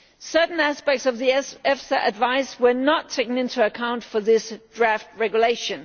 Certain aspects of the EFSA advice were not taken into account for this draft regulation.